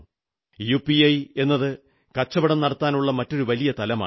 UPI എന്നത് കച്ചവടം നടത്താനുള്ള മറ്റൊരു വലിയ തലമാണ്